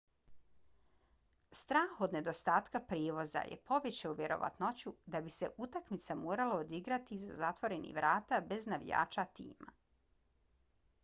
strah od nedostatka prijevoza je povećao vjerovatnoću da bi se utakmica morala odigrati iza zatvorenih vrata bez navijača tima